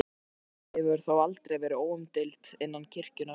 Sú afstaða hefur þó aldrei verið óumdeild innan kirkjunnar.